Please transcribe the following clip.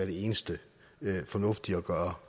det eneste fornuftige at gøre